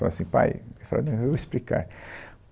Falavam assim, pai, eu falava não, eu vou explicar.